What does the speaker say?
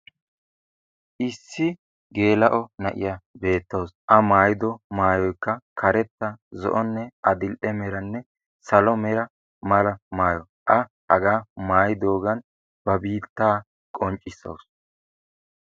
Issi gelao na'iyaa betawusu. A maayido maayoykka karetta zo'onne adil'ee merane salo mera maayo. A hagaa maayidogan ba biitta qonccissawusu.